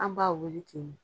An b'an wele ten nen